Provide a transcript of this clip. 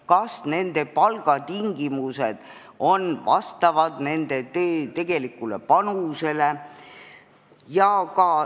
Kas nende palgatingimused vastavad nende tegelikule tööpanusele?